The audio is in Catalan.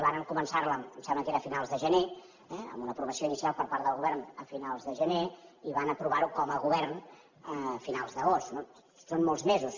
varen començar la em sembla que era a finals de gener amb una aprovació inicial per part del govern a finals de gener i van aprovar ho com a govern a finals d’agost no són molts mesos